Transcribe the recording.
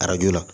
Arajo la